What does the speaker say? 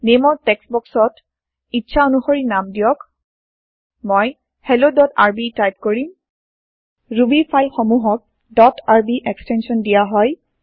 Nameৰ text বক্সট ইচ্ছা অনুশৰি নাম দিয়ক মই helloআৰবি টাইপ কৰিম ৰুবী ফাইল সমূহক ডট আৰবি এক্সটেন্চন দিয়া হয়